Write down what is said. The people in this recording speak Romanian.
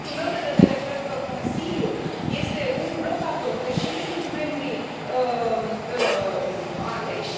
Din punctul meu de vedere, cred că Consiliul este un blocator, deși nu sunt membri aleși.